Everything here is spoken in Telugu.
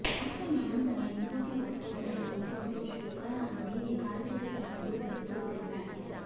అస్తమానం తమ ఇంట్లోకి వస్తోందనే కోపంతో శునకాన్ని కాల్చేసినట్లు నిందితుడు తెలిపాడు